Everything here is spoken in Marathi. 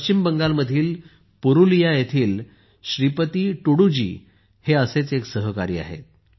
पश्चिम बंगालमधील पुरुलिया येथील श्रीपती तुडू जी हे असेच एक सहकारी आहेत